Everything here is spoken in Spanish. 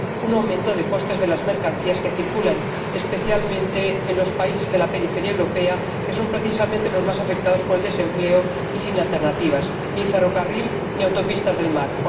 un aumento de costes de las mercancías que circulan especialmente en los países de la periferia europea, que son, precisamente, los más afectados por el desempleo y que carecen de alternativas ni ferrocarril, ni autopistas del mar.